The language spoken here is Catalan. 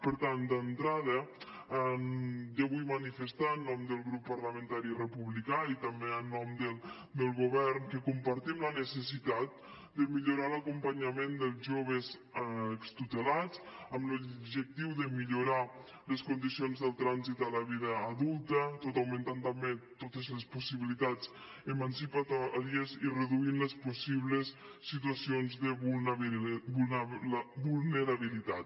per tant d’entrada jo vull manifestar en nom del grup parlamentari republicà i també en nom del govern que compartim la necessitat de millorar l’acompanyament dels joves extutelats amb l’objectiu de millorar les condicions del trànsit a la vida adulta tot augmentant també totes les possibilitats emancipadores i reduint les possibles situacions de vulnerabilitat